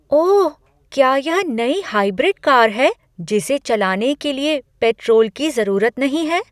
ओह! क्या यह नई हाइब्रिड कार है जिसे चलाने के लिए पेट्रोल की जरूरत नहीं है?